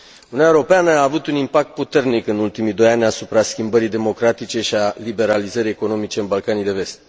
Uniunea Europeană a avut un impact puternic în ultimii doi ani asupra schimbării democratice și a liberalizării economice în Balcanii de Vest.